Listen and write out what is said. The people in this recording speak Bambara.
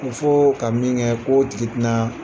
Muso ka min kɛ k'o tigi ti naa